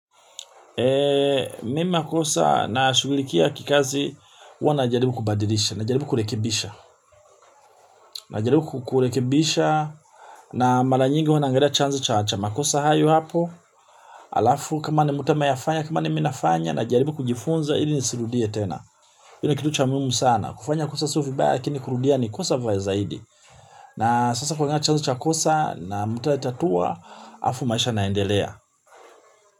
Mi makosa na shugulikia kikazi huwa najaribu kubadilisha, najaribu kurekibisha. Najaribu kurekebisha na mara nyingi huwa naangalia chanzo cha cha makosa hayo hapo. Alafu kama ni mtu ameyafanya, kama ni mi nafanya najaribu kujifunza, ili nisirudie tena. Hili ni kitu cha muhimu sana, kufanya kosa sio vibaya lakini kurudia ni kosa vya zaidi. Na sasa kuangalia chanzo cha kosa na mutayatatua, halafu maisha inaaendelea.